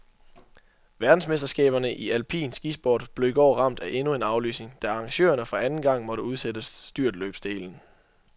Verdensmesterskaberne i alpin skisport blev i går ramt af endnu en aflysning, da arrangørerne for anden gang måtte udsætte styrtløbsdelen.